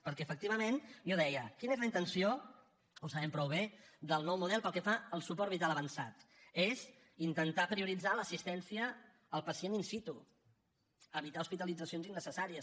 perquè efectivament jo deia quina és la intenció ho sabem prou bé del nou model pel que fa al suport vital avançat és intentar prioritzar l’assistència al pacient in situ evitar hospitalitzacions innecessàries